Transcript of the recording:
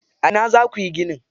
A ina za kuyi ginin?